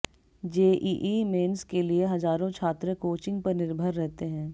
JEE mains के लिए हजारों छात्र कोचिंग पर निर्भर रहते हैं